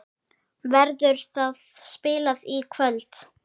Verður það spilað í kvöld?